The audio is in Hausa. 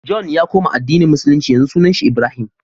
john ya koma addini musulunci yanzu sunan shi ibrahim